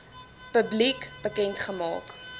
publiek bekend gemaak